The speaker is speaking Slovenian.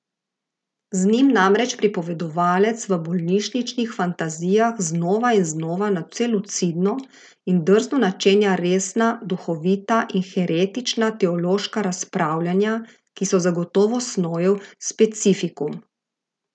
Z njim namreč pripovedovalec v bolnišničnih fantazijah znova in znova nadvse lucidno in drzno načenja resna, duhovita in heretična teološka razpravljanja, ki so zagotovo Snojev specifikum.